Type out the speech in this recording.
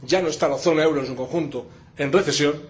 Ya no está la zona euro en su conjunto en recesión.